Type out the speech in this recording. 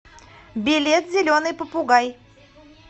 билет зеленый попугай